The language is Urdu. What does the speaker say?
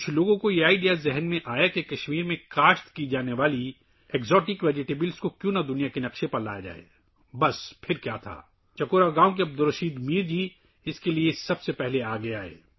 کچھ لوگوں کو خیال آیا کہ کیوں نہ کشمیر میں اگنے والی غیر ملکی سبزیوں کو دنیا کے نقشے پر لایا جائے... پھر کیا... چکورا گاؤں کے عبدالرشید میر جی اس کے لیے سب سے پہلے آگے آئے